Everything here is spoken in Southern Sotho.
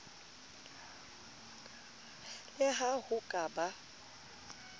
le ha ho ka ba